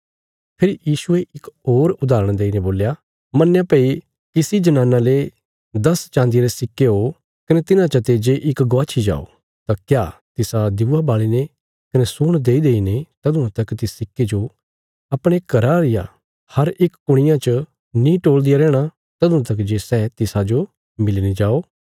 फेरी यीशुये इक होर उदाहरण देईने बोल्या मन्नया भई किसी जनाना ले दस चान्दिया रे सिक्के ओ कने तिन्हां चते जे इक गवाच्छी जाओ तां क्या तिसा दिऊआ बाल़ीने कने सूण देईदेईने तदुआं तक तिस सिक्के जो अपणे घरा रिया हर इक कुणियां च नीं टोल़दिया रैहणा तदुआं तक जे सै तिसाजो मिली नीं जाओ